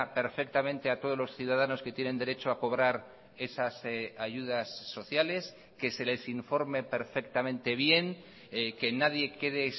perfectamente a todos los ciudadanos que tienen derecho a cobrar esas ayudas sociales que se les informe perfectamente bien que nadie quede